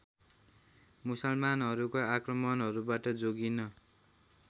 मुसलमानहरूको आक्रमाणहरूबाट जोगिन